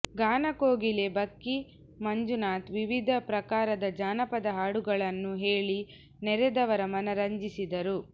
ಗಾನ ಕೋಗಿಲೆ ಬಕ್ಕಿ ಮಂಜುನಾಥ್ ವಿವಿಧ ಪ್ರಕಾರದ ಜಾನಪದ ಹಾಡುಗಳನ್ನು ಹೇಳಿ ನೆರೆದವರ ಮನ ರಂಜಿಸಿದರು